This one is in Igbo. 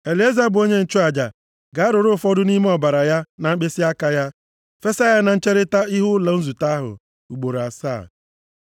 Elieza bụ onye nchụaja ga-arụrụ ụfọdụ nʼime ọbara ya na mkpịsịaka ya, fesa ya na ncherita ihu ụlọ nzute ahụ ugboro asaa.